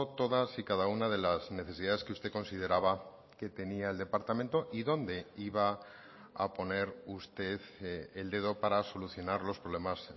todas y cada una de las necesidades que usted consideraba que tenía el departamento y dónde iba a poner usted el dedo para solucionar los problemas